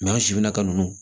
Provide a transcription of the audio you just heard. an sifinaka ninnu